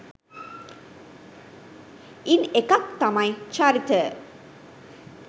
ඉන් එකක් තමයි චරිත